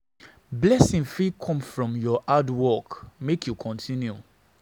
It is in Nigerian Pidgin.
Blessing fit come from your hard work, make you continue.